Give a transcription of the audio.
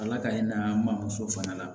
Ala k'an in na n ba muso fana la